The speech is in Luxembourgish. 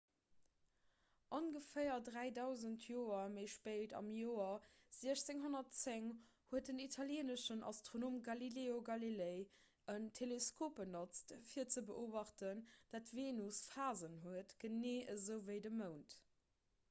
ongeféier dräidausend joer méi spéit am joer 1610 huet den italieeneschen astronom galileo galilei en teleskop benotzt fir ze beobachten datt d'venus phasen huet genee esou ewéi de mound